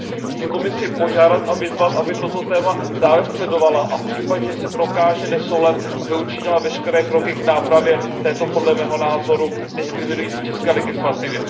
Chci Komisi požádat a vyzvat, aby toto téma dále sledovala a v případě, že se prokáže nesoulad, aby učinila veškeré kroky k nápravě této, podle mého názoru, diskriminující české legislativy.